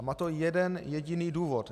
A má to jeden jediný důvod.